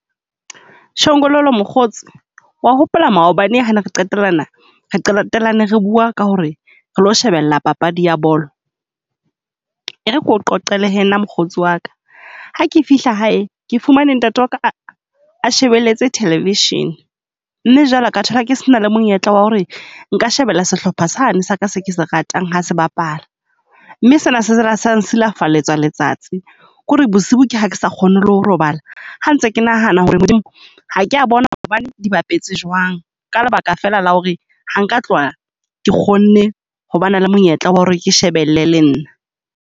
Chongololo mokgotsi, wa hopola maobane ha re qetelana, re re bua ka ho re re lo shebella papadi ya bolo. E re ke o qoqele hee mokgotsi wa ka. Ha ke fihla hae ke fumane ntate wa ka a shebeletse television, mme jwale ka thola ke sena le monyetla wa ho re nka shebella sehlopha sane sa ka se ke se ratang ha se bapala. Mme sena se ila sa nsilafatsa letsatsi, ko re bosiu ke ha ke sa kgone le ho robala. Ha ntse ke nahana ho re Modimo ha ke a bona maobane di bapetse jwang. Ka lebaka fela la ho re ha nka tloha ke kgone hobana le monyetla wa hore ke shebelle le nna.